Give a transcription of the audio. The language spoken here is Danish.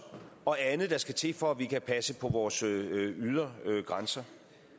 og andet der skal til for at vi kan passe på vores ydre grænser